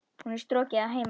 Hún er strokin að heiman.